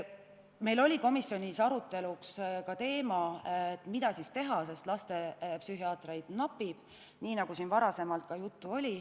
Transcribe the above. Meil oli komisjonis arutelu all ka teema, mida teha seoses sellega, et lastepsühhiaatreid napib, nagu varasemalt oli juttu.